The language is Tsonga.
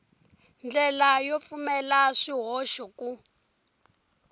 ndlela yo pfumala swihoxo ku